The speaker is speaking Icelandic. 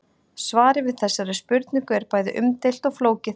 Svarið við þessari spurningu er bæði umdeilt og flókið.